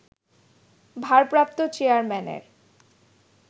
ভারপ্রাপ্ত চেয়ারম্যানের